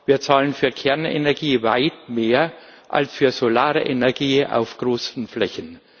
Wir zahlen für Kernenergie weit mehr als für solare Energie auf großen Flächen.